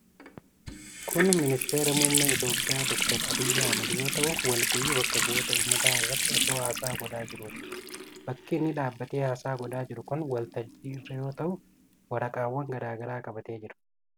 Kun Ministeera Mummee Itoophiyaa Dr Abiy Ahimad yoo ta'u, walgayii Bakka Bu'oota Ummataa irratti osoo haasaa godhaa jiruuti. Bakki inni dhaabatee haasaa godhaa jiru kun waltajjii irra yoo ta'u, waraqaawwan garaa garaa qabatee jira.